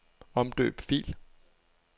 Omdøb fil.